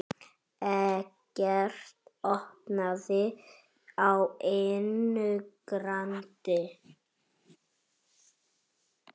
Eggert opnaði á einu grandi.